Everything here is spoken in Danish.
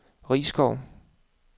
Risskov